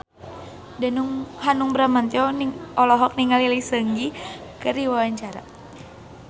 Hanung Bramantyo olohok ningali Lee Seung Gi keur diwawancara